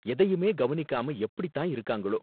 எதையுமே கவனிக்காம எப்படித் தான் இருக்காங்களோ.